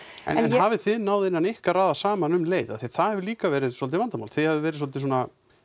en hafið þið náð innan ykkar raða saman um leið af því að það hefur líka verið svolítið vandamál þið hafið verið svolítið svona